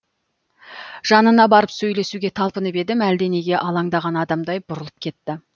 жанына барып сөйлесуге талпынып едім әлденеге алаңдаған адамдай бұрылып кетті